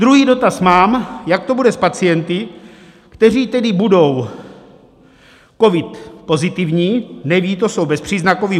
Druhý dotaz mám: Jak to bude s pacienty, kteří tedy budou covid pozitivní, nevědí to, jsou bezpříznakoví?